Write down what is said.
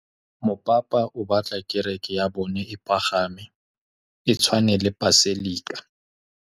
Mopapa o batla kereke ya bone e pagame, e tshwane le paselika.